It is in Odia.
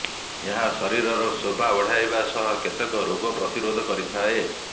ଏହା ଶରୀରର ଶୋଭା ବଢାଇବା ସହ କେତେକ ରୋଗ ପ୍ରତିରୋଧ କରିଥାଏ